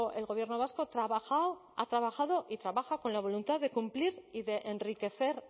el gobierno vasco trabajó ha trabajado y trabaja con la voluntad de cumplir y de enriquecer